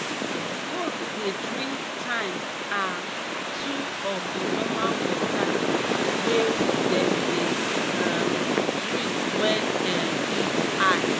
goats dey drink times um two of the normal water wey dem dey um drink wen um heat high